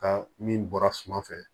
Ka min bɔra suma fɛ